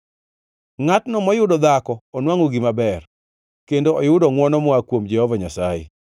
Ngʼatno moyudo dhako onwangʼo gima ber kendo oyudo ngʼwono moa kuom Jehova Nyasaye.